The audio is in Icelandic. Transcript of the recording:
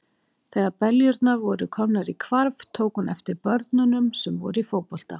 Þegar beljurnar voru komnar í hvarf, tók hún eftir börnunum sem voru í fótbolta.